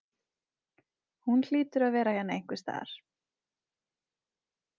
Hún hlýtur að vera hérna einhvers staðar.